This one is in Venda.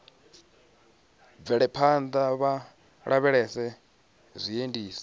bvele phanḓa vha lavhelese zwiendisi